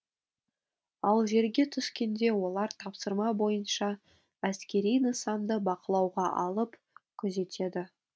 ал жерге түскенде олар тапсырма бойынша әскери нысанды бақылауға алып күзетеді